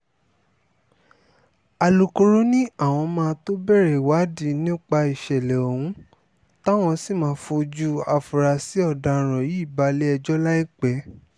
alūkkóró ni àwọn máa tóó bẹ̀rẹ̀ ìwádìí nípa ìṣẹ̀lẹ̀ ohun táwọn sì máa fojú àfúráṣí ọ̀daràn yìí balẹ̀-ẹjọ́ láìpẹ́